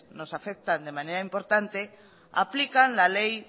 nos afectan de manera importante aplican la ley